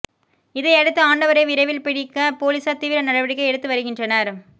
இதையடுத்து ஆண்டவரை விரைவில் பிடிக்க போலீசார் தீவிர நடவடிக்கை எடுத்து வருகின்றனர்